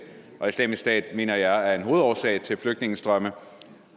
og islamisk stat mener jeg er en hovedårsag til flygtningestrømme